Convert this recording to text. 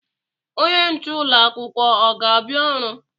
Onye nche ụlọ akwụkwọ ọ ga-abịa ọrụ?